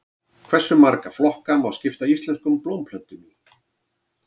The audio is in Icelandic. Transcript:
Hversu marga flokka má skipta íslenskum blómplöntum í?